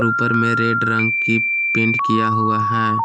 ऊपर में रेड रंग की पेंट किया हुआ है।